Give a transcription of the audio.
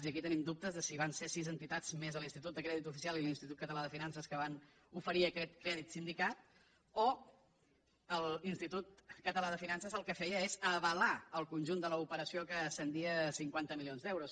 i aquí tenim dubtes de si van ser sis entitats més l’institut de crèdit oficial i l’institut català de finances que van oferir aquest crèdit sindicat o l’institut català de finances el que feia és avalar el conjunt de l’operació que ascendia a cinquanta milions d’euros